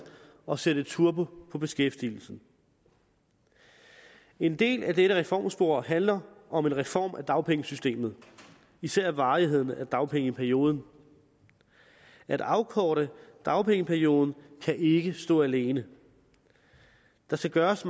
og sætte turbo på beskæftigelsen en del af dette reformspor handler om en reform af dagpengesystemet især af varigheden af dagpengeperioden at afkorte dagpengeperioden kan ikke stå alene der skal gøres